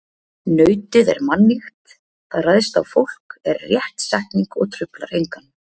Nautið er mannýgt, það ræðst á fólk er rétt setning og truflar engan.